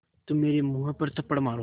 तो मेरे मुँह पर थप्पड़ मारो